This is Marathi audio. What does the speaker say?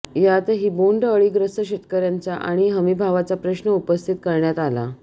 यातही बोंडअळीग्रस्त शेतकऱ्यांचा आणि हमीभावाचा प्रश्न उपस्थित करण्यात आला